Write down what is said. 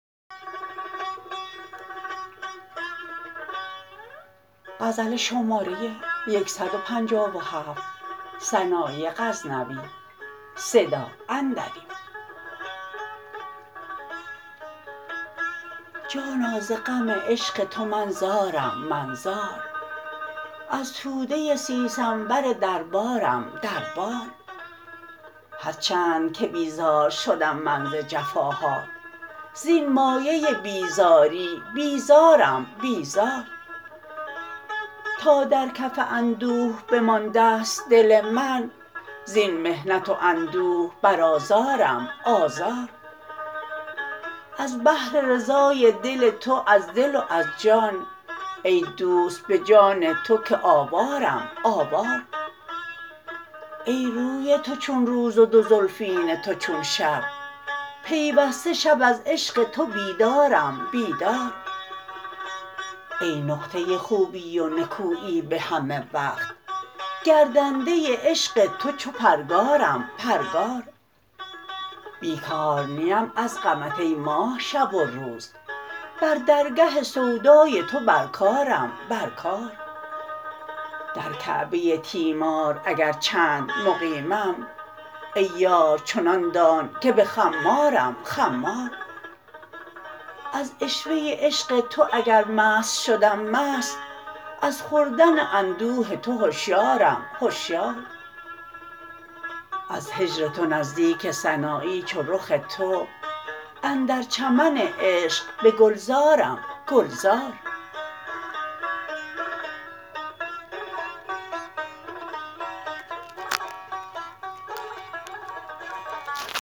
جانا ز غم عشق تو من زارم من زار از توده سیسنبر در بارم در بار هر چند که بیزار شدم من ز جفاهات زین مایه بیزاری بیزارم بیزار تا در کف اندوه بماندست دل من زین محنت و اندوه بر آزارم آزار از بهر رضای دل تو از دل و از جان ای دوست به جان تو که آوارم آوار ای روی تو چون روز و دو زلفین تو چون شب پیوسته شب از عشق تو بیدارم بیدار ای نقطه خوبی و نکویی به همه وقت گردنده عشق تو چو پرگارم پرگار پیکار نیم از غمت ای ماه شب و روز بر درگه سودای تو بر کارم بر کار در کعبه تیمار اگر چند مقیمم ای یار چنان دان که به خمارم خمار از عشوه عشق تو اگر مست شدم مست از خوردن اندوه تو هشیارم هشیار از هجر تو نزدیک سنایی چو رخ تو اندر چمن عشق به گلزارم گلزار